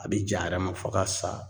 A bɛ ja a yɛrɛ ma fo ka sa